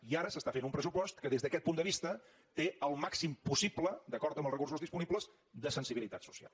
i ara s’està fent un pressupost que des d’aquest punt de vista té el màxim possible d’acord amb els recursos disponibles de sensibilitat social